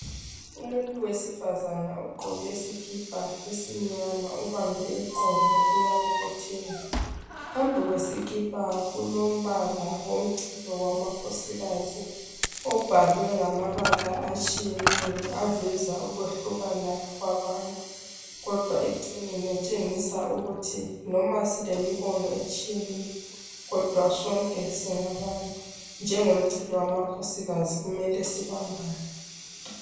Umuntu wesifazana ugqoke isikipha esimnyama ubambe iqolo uyabobotheka. Phambili kwesikipha kulombala womchilo wamakhosikazi obhalwe ngamabala atshiyeneyo aveza ukwehlukana kwabantu kodwa ekucineni etshengisa ukuthi noma silemibono etshiyeneyo, kodwa sonke singabantu. Njengomchilo wamakhosikazi kumele sibambane.